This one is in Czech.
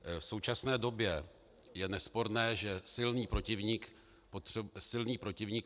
V současné době je nesporné, že silný protivník potřebuje silného protihráče.